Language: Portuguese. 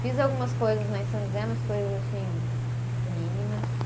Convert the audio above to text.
Fiz algumas coisas lá em São José, umas coisas assim, mínimas.